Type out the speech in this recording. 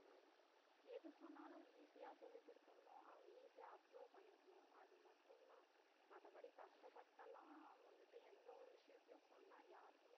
அஹ் எது சொன்னாலும் easy அ சொல்லிக் குடுத்துறனும் அவுங்க easy அ observe பண்ணிக்கணும் அது மட்டும் தான் மத்தபடி கஷ்டப்பட்டெல்லாம் வந்துட்டு எந்த ஒரு விஷயத்தையும் சொன்னா யாருக்குமே